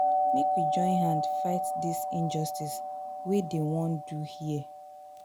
Make we join hand fight dis injustice wey dem wan do here.